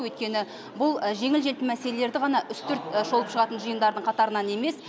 өйткені бұл жеңіл желпі мәселелерді ғана үстірт шолып шығатын жиындардың қатарынан емес